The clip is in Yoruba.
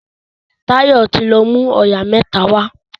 Tayo tí lọ mú oyà mẹ́ta wá